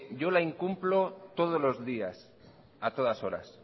yo la incumplo todos los días y a todas horas